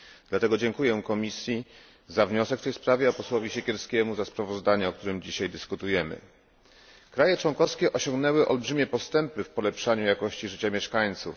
Dlatego dziękuję Komisji za wniosek w tej sprawie, a posłowi Siekierskiemu za sprawozdanie, o którym dzisiaj dyskutujemy. Kraje członkowskie osiągnęły olbrzymie postępy w polepszaniu jakości życia mieszkańców.